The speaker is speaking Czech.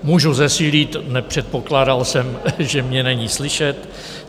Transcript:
Mohu zesílit, nepředpokládal jsem, že mě není slyšet.